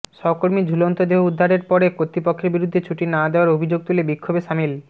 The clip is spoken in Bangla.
সহকর্মীর ঝুলন্ত দেহ উদ্ধারের পরে কর্তৃপক্ষের বিরুদ্ধে ছুটি না দেওয়ার অভিযোগ তুলে বিক্ষোভে শামিল